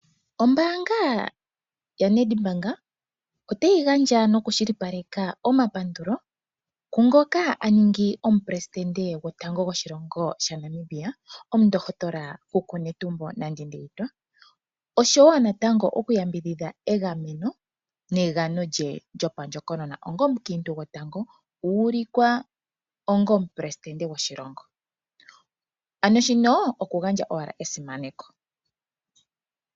Ombaanga yaNedbank otayi gandja omapandulo kungoka a ningi omuperesidente gwotango gomukulukadhi gwoshilongo shaNamibia omundohotola kuku Netumbo Nandi-Ndaitwah oshowo natango okuyambidhidha egameno negano lye lyopandjokonona onga omukiintu gotango a ulikwa onga omuperesidente goshilongo. Shino okugandja owala esimaneko.